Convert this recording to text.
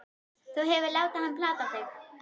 Þú hefur látið hann plata þig!